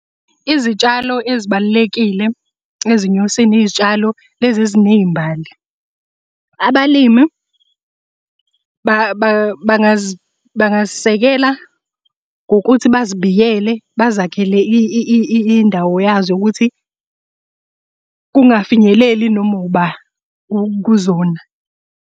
Izitshalo ezibalulekile ezinyosini izitshalo lezi eziney'mbali. Abalimi bangazisekela ngokuthi bazibiyele bazakhele indawo yazo yokuthi kungafinyeleli noma uba kuzona.